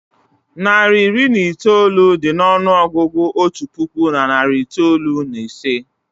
Narị iri na itoolu dị n'ọnụọgụgụ otu puku na narị itoolu na ise